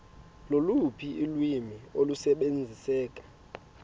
loluphi ulwimi olusebenziseka